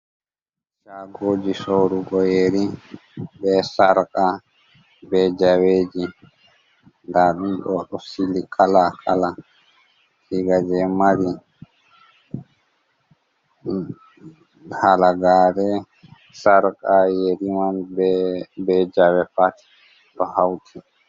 shagoji sorugo yeri be sarqa be zaweji da ɗum do sili kala kala iga jei maari halagare sarqa yeriman be jawe pat do hauti.